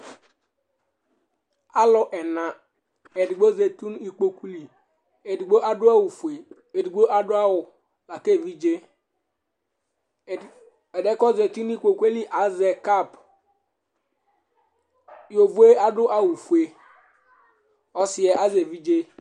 Alu ɛna Ɛdí zɛti ŋu ikpoku li Ɛɖigbo aɖu awu fʋe Aɖigbo aɖu awu ake evidze Ɛɖiɛ kʋ ɔzɛti ŋu ikpoku li azɛ cap Yovoe aɖu awu fʋe Ɔsiɛ azɛ evidze